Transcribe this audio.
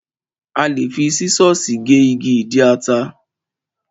A lè fi sísọ̀sì gé igi ìdí ata.